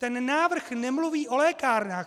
Ten návrh nemluví o lékárnách.